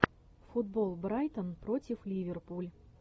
футбол брайтон против ливерпуль